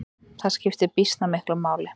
Það skiptir býsna miklu máli.